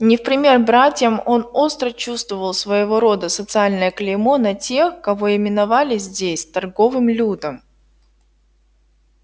не в пример братьям он остро чувствовал своего рода социальное клеймо на тех кого именовали здесь торговым людом